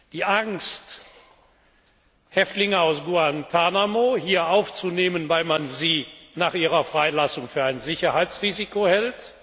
Die Angst, Häftlinge aus Guantánamo hier aufzunehmen, weil man sie nach ihrer Freilassung für ein Sicherheitsrisiko hält?